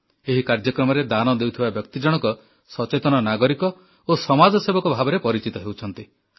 ଏହି କାର୍ଯ୍ୟକ୍ରମରେ ଦାନ ଦେଉଥିବା ବ୍ୟକ୍ତି ଜଣକ ସଚେତନ ନାଗରିକ ଓ ସମାଜସେବକ ଭାବରେ ପରିଚିତ ହେଉଛନ୍ତି